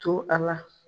To a la